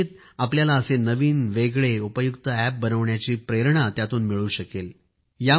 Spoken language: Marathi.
कदाचित आपल्याला असे नवीन वेगळे उपयुक्त अॅप बनविण्याची प्रेरणा मिळू शकेल